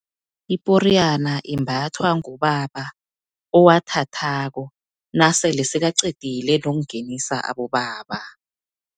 Iporiyana, imbathwa ngubaba owathathako, nasele sekaqedile nokungenisa abobaba.